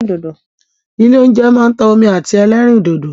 Ilé óúnjẹ máa ń ta omi àti ẹlẹ́rìndòdò.